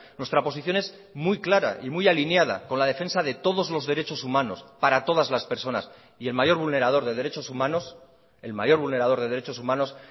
nuestra posición es muy clara y muy alineada con la defensa de todos los derechos humanos para todas las personas y el mayor vulnerador de derechos humanos el mayor vulnerador de derechos humanos